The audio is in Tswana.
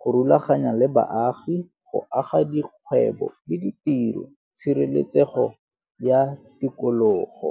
go rulaganya le baagi go aga dikgwebo le ditiro, tshireletsego ya tikologo.